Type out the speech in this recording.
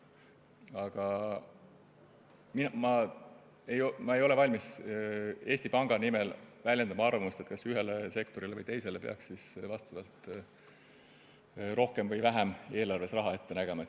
Aga ma ei ole valmis väljendama Eesti Panga nimel arvamust, kas ühele või teisele sektorile peaks vastavalt rohkem või vähem eelarves raha ette nägema.